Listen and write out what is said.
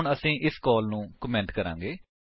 ਹੁਣ ਅਸੀ ਇਸ ਕਾਲ ਨੂੰ ਕਮੇਂਟ ਕਰਾਂਗੇ